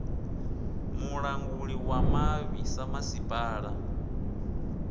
mulanguli wa mavhi ḓa masipala